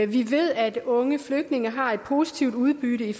vi ved at unge flygtninge har et positivt udbytte